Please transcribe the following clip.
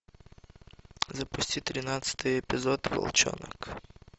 запусти тринадцатый эпизод волчонок